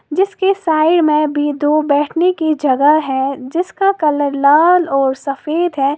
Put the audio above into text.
जिसके साइड में भी दो बैठने की जगह है जिसका कलर लाल और सफेद है।